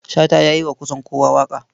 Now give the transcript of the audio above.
Shata ya yi wa kusan kowa waƙa.